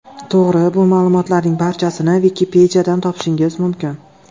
To‘g‘ri, bu ma’lumotlarning barchasini Wikipedia’dan topishingiz mumkin.